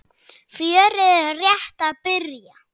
Fjörið er rétt að byrja.